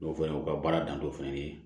O fɛnɛ o ka baara dantɔ fɛnɛ ye